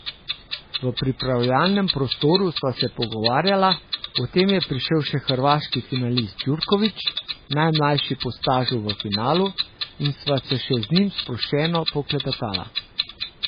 V pripravljalnem prostoru sva se pogovarjala, potem je prišel še hrvaški finalist Djurković, najmlajši po stažu v finalu, in sva se še z njim sproščeno poklepetala.